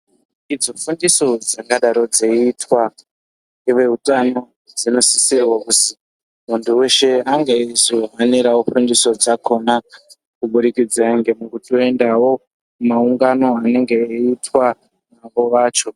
Idzo dundiso dzingadai dzeiitwa ngeveutano dzinosisirwa kuzi muntu weshe ange eizohanirewo fundiso dzakona kubudikidza ngekutoendawo mumaungano anenge eiitwa navo vacho.